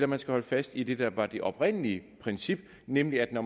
man skal holde fast i det der var det oprindelige princip nemlig at når